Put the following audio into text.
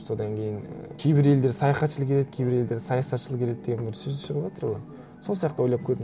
содан кейін і кейбір елдер саяхатшыл келеді кейбір елдер саясатшыл келеді деген бір сөз шығыватыр ғой сол сияқты ойлап көрдім